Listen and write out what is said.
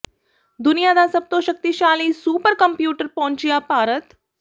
ਦੁਨੀਆ ਦਾ ਸਭ ਤੋਂ ਸ਼ਕਤੀਸ਼ਾਲੀ ਸੁਪਰ ਕੰਪਿਊਟਰ ਪਹੁੰਚਿਆ ਭਾਰਤ